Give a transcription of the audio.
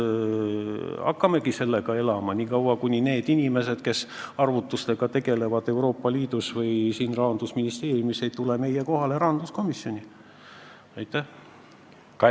Hakkamegi selle järgi elama nii kaua, kuni need inimesed, kes tegelevad arvutustega Euroopa Liidus või siin Rahandusministeeriumis, ei tule rahanduskomisjoni meie kohale.